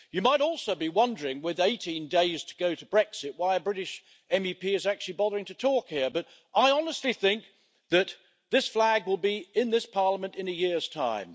You might also be wondering, with 18 days to go to Brexit, why a British MEP is actually bothering to talk here, but I honestly think that this flag will be in this Parliament in a year's time.